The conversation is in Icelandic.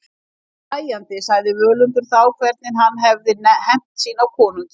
Hlæjandi sagði Völundur þá hvernig hann hafði hefnt sín á konungi.